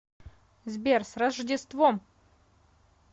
сбер с рождеством